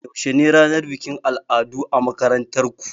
Yaushe ne ranar bikin al'adu a makarantar ku?